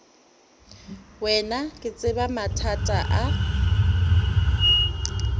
wena ke tseba mathata a